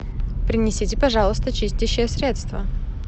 принесите пожалуйста чистящее средство